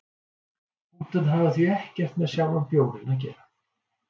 punktarnir hafa því ekkert með sjálfan bjórinn að gera